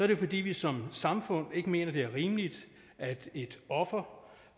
det fordi vi som samfund ikke mener det er rimeligt at et offer